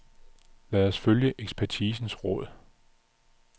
Lad os følge ekspertisens råd.